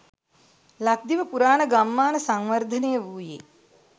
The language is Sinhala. ලක්දිව පුරාණ ගම්මාන සංවර්ධනය වූයේ